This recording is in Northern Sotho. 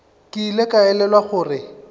ke ile ka elelwa gore